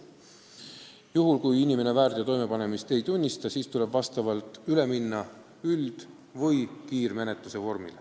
Juhul kui inimene väärteo toimepanemist ei tunnista, tuleb kasutada üld- või kiirmenetlust.